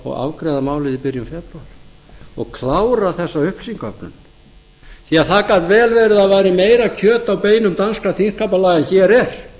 og afgreiða málið í byrjun febrúar og klára þessa upplýsingaöflun því að það gat vel verið að það væri meira kjöt á beinum danskra þingskapalaga en hér er